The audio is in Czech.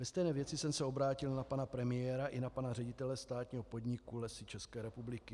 Ve stejné věci jsem se obrátil na pana premiéra i na pana ředitele státního podniku Lesy České republiky.